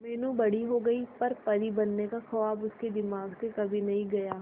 मीनू बड़ी हो गई पर परी बनने का ख्वाब उसके दिमाग से कभी नहीं गया